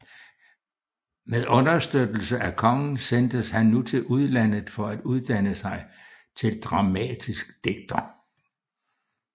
Med understøttelse af kongen sendtes han nu til udlandet for at uddanne sig til dramatisk digter